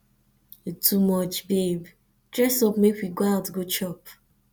you too much babe dress up make we go out go chop